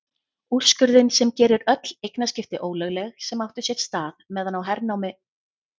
Úrskurðinn sem gerir öll eignaskipti ólögleg sem áttu sér stað meðan á hernámi